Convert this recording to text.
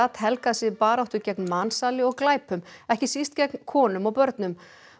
helgað sig baráttu gegn mansali og glæpum ekki síst gegn konum og börnum